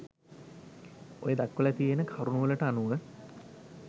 ඔය දක්වල තියෙන කරුණු වලට අනුව